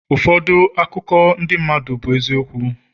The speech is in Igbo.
ụfọdụ akụkọ ndị mmadụ bụ eziokwu